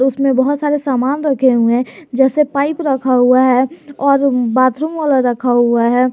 इसमें बहुत सारे सामान रखे हुए हैं जैसे पाइप रखा हुआ है और बाथरूम वाला रखा हुआ है।